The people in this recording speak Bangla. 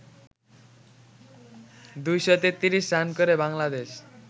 ২৩৩ রান করে বাংলাদেশ